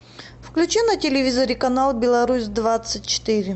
включи на телевизоре канал беларусь двадцать четыре